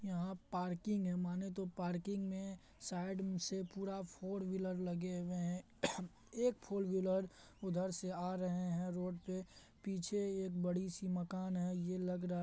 यहाँ पार्किंग हैमाने तो पार्किंग में साइड में से पूरा फॉर व्हीलर लगे हुए है एक फॉर व्हीलर उधर से आ रहे है। रोड पे पीछे एक बड़ी-सी मकान है। ये लग रहा--